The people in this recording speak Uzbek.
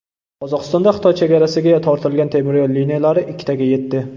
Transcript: Qozog‘istonda Xitoy chegarasiga tortilgan temiryo‘l liniyalari ikkitaga yetdi.